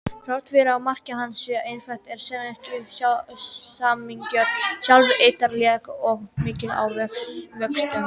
Þrátt fyrir að markmið hans sé einfalt er samningurinn sjálfur ítarlegur og mikill að vöxtum.